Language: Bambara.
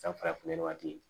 San farafin nɔgɔ tɛ yen